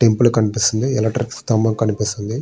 Temple కనిపిస్తోంది. Electric సంభం కనిపిస్తోంది.